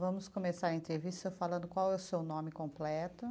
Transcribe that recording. Vamos começar a entrevista falando qual é o seu nome completo.